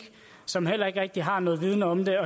som heller ikke rigtig har nogen viden om det